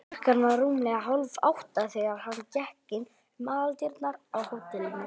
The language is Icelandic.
Klukkan var rúmlega hálfátta, þegar hann gekk inn um aðaldyrnar á hótelinu.